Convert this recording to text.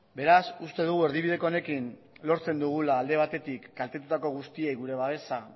beraz uste dugu erdibideko honekin lortzen dugula alde batetik kaltetutako guztiei gure babesa